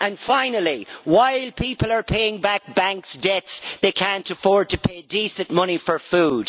Finally, while people are paying back bank debts, they cannot afford to pay decent money for food.